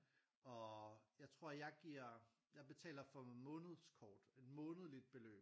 Og jeg tror jeg giver jeg betaler for månedskort et månedligt beløb